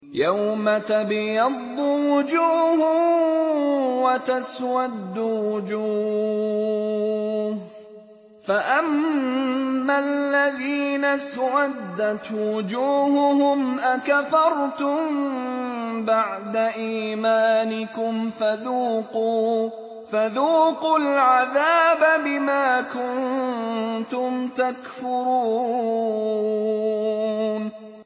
يَوْمَ تَبْيَضُّ وُجُوهٌ وَتَسْوَدُّ وُجُوهٌ ۚ فَأَمَّا الَّذِينَ اسْوَدَّتْ وُجُوهُهُمْ أَكَفَرْتُم بَعْدَ إِيمَانِكُمْ فَذُوقُوا الْعَذَابَ بِمَا كُنتُمْ تَكْفُرُونَ